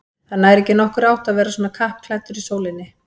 Það nær ekki nokkurri átt að vera svona kappklæddur í sólinni